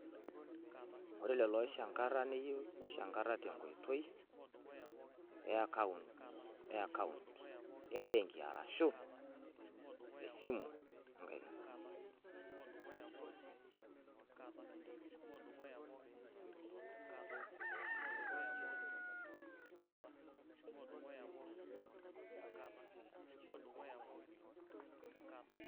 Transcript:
Ore lelo oishnaga neyienu neishanga ninje tenkoitoi e akaunt e benki arahu esimu enkaina